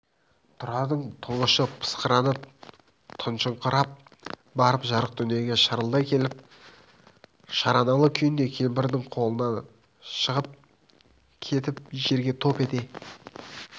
тұрардың тұңғышы пысқырынып тұншығыңқырап барып жарық дүниеге шарылдай келіп шараналы күйінде кемпірдің қолынан шығып кетіп жерге топ ете